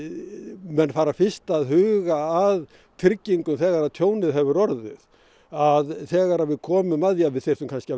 menn fara fyrst að huga að tryggingum þegar að tjónið hefur orðið að þegar við komum að því að við þyrftum kannski að